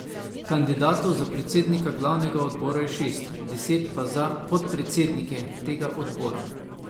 Kandidatov za predsednika glavnega odbora je šest, deset pa za podpredsednike tega odbora.